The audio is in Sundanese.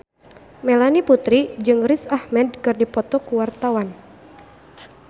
Melanie Putri jeung Riz Ahmed keur dipoto ku wartawan